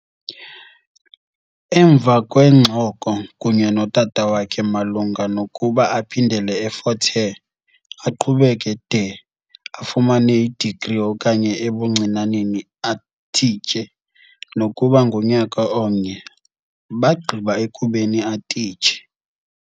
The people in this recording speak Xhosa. Emva kweengxoko kunye notata wakhe malunga nokuba aphindele eFort Hare, aqhubeke de afumane i-degree okanye ebuncinaneni atistshe nokuba ngunyaka omnye, bagqiba ekubeni atitshe.